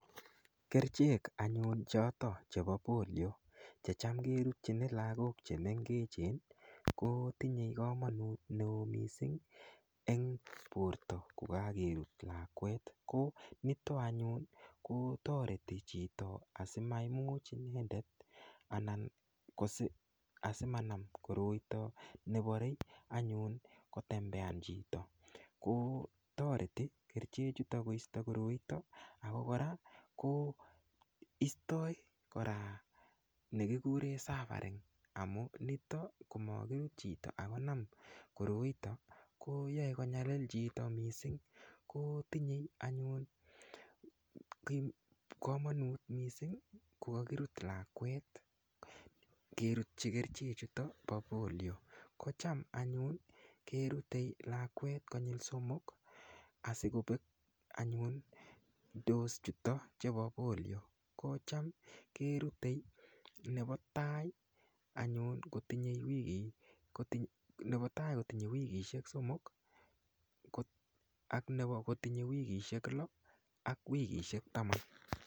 Kerchek anyun choto chepo polio che cham kerutchini lakok chemengechen kotinyei komonut neo mising eng Porto kokakerut lakwet ko nitok anyun kotoreti chito asimaimuch inendet anan asimanam koroito neporei anyun kotembean chito kotoreti kerichechuto koisto koroito ako kora ko istoi kora nekikure suffering amu nito komakirut chito akinam koroito koyoe konyalil chito mising kotinyei anyun komonut mising kokakirut lakwet kerutchi kerchechuto po polio kocham anyun kerutei lakwet konyil somok asikopek anyun dose chuto chepo polio ko cham kerutei nepo tai anyun kotinyei wikishek somok ak kotinyei wikishek lo ak wikishek taman